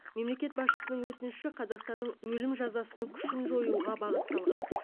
мемлекет басшысының өтініші қазақстанның өлім жазасының күшін жоюға бағытталған